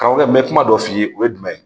Karamɔgɔkɛ n bɛ kuma dɔ f'i ye o ye jumɛn ye